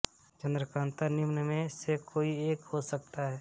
चन्द्रकान्ता निम्न में से कोई एक हो सकता है